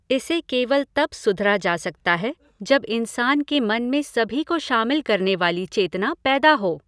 इसे केवल तब सुधरा जा सकता है जब इंसान के मन में सभी को शामिल करने वाली चेतना पैदा हो।